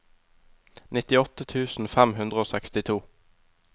nittiåtte tusen fem hundre og sekstito